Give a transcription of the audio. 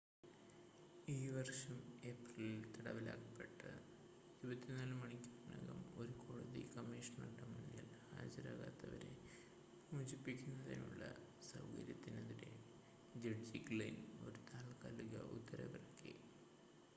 ഈ വർഷം ഏപ്രിലിൽ തടവിലാക്കപ്പെട്ട് 24 മണിക്കൂറിനകം ഒരു കോടതി കമ്മീഷണറുടെ മുന്നിൽ ഹാജരാകാത്തവരെ മോചിപ്പിക്കുന്നതിനുള്ള സൗകര്യത്തിനെതിരെ ജഡ്ജി ഗ്ലിൻ ഒരു താത്കാലിക ഉത്തരവിറക്കി